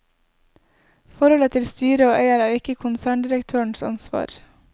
Forholdet til styret og eier er ikke konserndirektørens ansvar.